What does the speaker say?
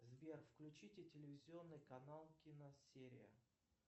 сбер включите телевизионный канал киносерия